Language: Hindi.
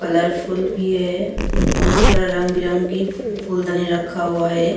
कलरफूल भी है बहोत सारा रंग बिरंगी फूलदानी रखा हुआ है।